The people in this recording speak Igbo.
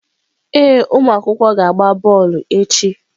Ee ụmụ akwụkwọ ga-agba bọọlụ echi.